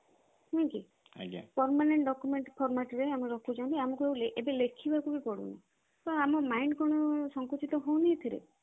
ନୁହେଁ କି permanent document format ରେ ଆମେ ରଖୁଛନ୍ତି ଆମକୁ ଏବେ ଲେଖିବାକୁ ବି ପଡୁନି ତ ଆମ mind କଣ ସଙ୍କୁଚିତ ହଉନି ଏଇଥିରେ